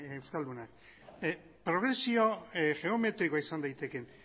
euskaldunak progresio geometrikoa izan daiteke